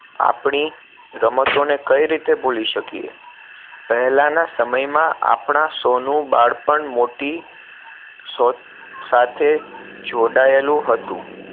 આપણી રમતો ને કઈ રીતે ભૂલી શકીએ પહેલા ના સમય માં આપણા સહુ નું બાળપણ મોટી સાથે જોડાયેલું હતું